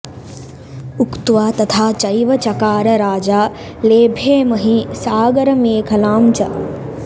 उक्त्वा तथा चैव चकार राजा लेभे महीं सागरमेखलां च